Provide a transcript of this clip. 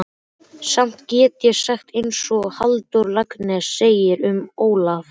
Samt get ég sagt einsog Halldór Laxness segir um Ólaf